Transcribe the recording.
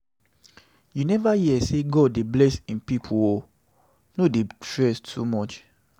you never hear sey God dey bless im pipu o, no dey stress too much.